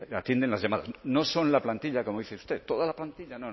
atienden las llamadas no son la plantilla como dice usted toda la plantilla